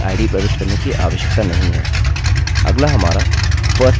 अगला हमारा firstname है अतः मैं alex लिखूँगा